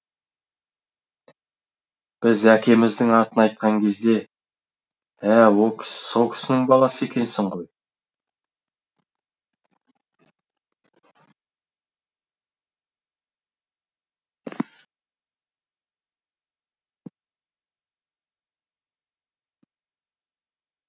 біз әкеміздің атын айтқан кезде ә со кісінің баласы екенсің ғой